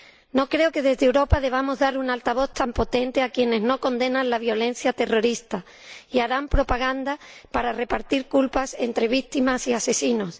No creo que, desde Europa, debamos dar un altavoz tan potente a quienes no condenan la violencia terrorista y harán propaganda para repartir culpas entre víctimas y asesinos.